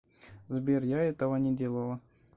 сбер я этого не делала